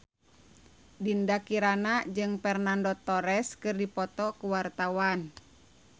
Dinda Kirana jeung Fernando Torres keur dipoto ku wartawan